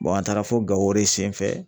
an taara fo Gao o de senfɛ.